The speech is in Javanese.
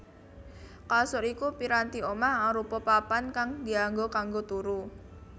Kasur iku piranti omah arupa papan kang dianggo kanggo turu